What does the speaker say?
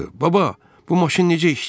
Baba, bu maşın necə?